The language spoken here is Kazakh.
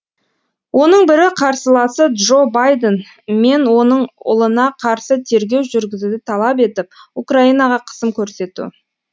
оның бірі қарсыласы джо байден мен оның ұлына қарсы тергеу жүргізуді талап етіп украинаға қысым көрсету